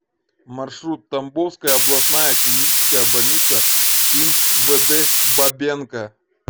маршрут тамбовская областная клиническая больница им вд бабенко